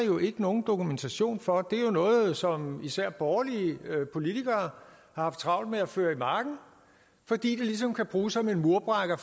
jo ikke nogen dokumentation for det er jo noget som især borgerlige politikere har haft travlt med at føre i marken fordi det ligesom kan bruges som en murbrækker